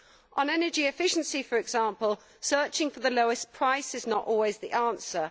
On energy efficiency, for example, searching for the lowest price is not always the answer